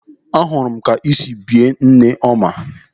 Ahụrụ m ka o si bie nne ya ọma.